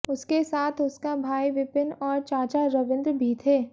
उसके साथ उसका भाई विपिन और चाचा रविन्द्र भी थे